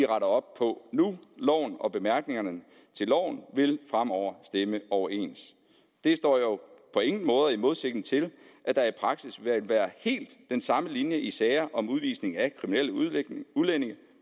op på nu loven og bemærkningerne til loven vil fremover stemme overens det står jo på ingen måde i modsætning til at der i praksis vil være helt den samme linje i sager om udvisning af kriminelle udlændinge